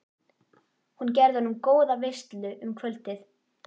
Hún gerði honum góða veislu um kvöldið.